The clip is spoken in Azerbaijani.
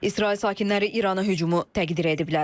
İsrail sakinləri İrana hücumu təqdir ediblər.